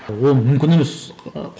ол мүмкін емес